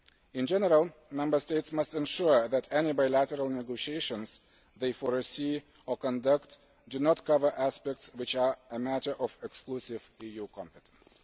In general, Member States must ensure that any bilateral negotiations they foresee or conduct do not cover aspects which are a matter of exclusive EU competence.